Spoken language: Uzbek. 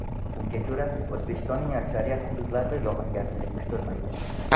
Unga ko‘ra, O‘zbekistonning aksariyat hududlarida yog‘ingarchilik kutilmaydi.